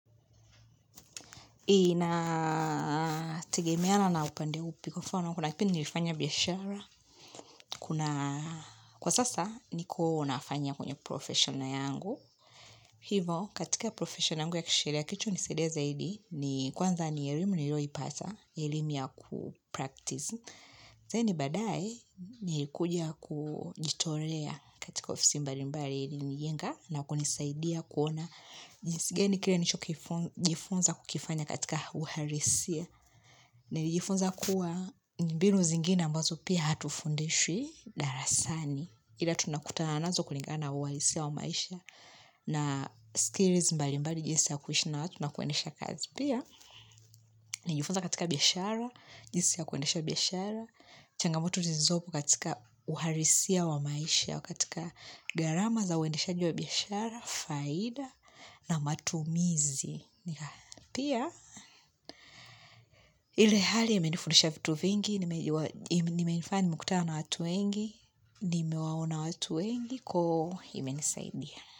Inategemeana na upande upi wa mfano kuna kipindi nilifanya biashara kuna kwa sasa niko nafanya kwenye professional yangu. Hivo katika professional yangu ya kisheria kilicho nisaidia zaidi ni kwanza ni elimu niliyo ipata, elimu ya kupractice. Then baadae nilikuja kujitolea katika ofisi mbali mbali ilinijenga na kunisaidia kuona jinsi gani kile nilicho jifunza kukifanya katika uhalisia. Nilijifunza kuwa mbinu zingine ambazo pia hatufundishwi darasani ila tunakutana nazo kulingana uhalisia wa maisha na skills mbali mbali jinsi ya kuishi na wa tu nakuendeha kazi pia. Nilijifunza katika biashara, jinsi ya kuendesha biashara, changamoto zilizopo katika uhalisia wa maisha, katika gharama za uendeshaji wa biashara, faida, na matumizi. Ni haya, pia, ile hali imenifundisha vitu vingi, imefanya nimekutana na watu wengi, nime waona watu wengi, ko imenisaidia.